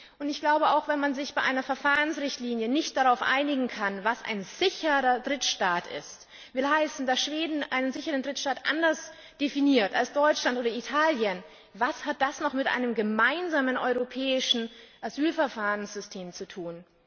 Und wenn man sich bei einer Verfahrensrichtlinie nicht darauf einigen kann, was ein sicherer Drittstaat ist will heißen, dass Schweden sicherer Drittstaat anders definiert als Deutschland oder Italien was hat das dann noch mit einem gemeinsamen europäischen Asylverfahrenssystem zu